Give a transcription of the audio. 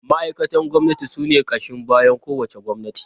Ma’aikatan gwamnati sune ƙashin bayan kowace gwamnati.